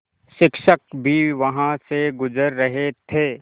शिक्षक भी वहाँ से गुज़र रहे थे